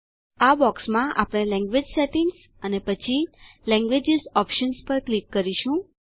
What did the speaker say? આ બોક્સમાં આપણે લેન્ગ્વેજ સેટિંગ્સ અને પછી લેન્ગ્વેજીસ ઓપ્શન પર ક્લિક કરીશું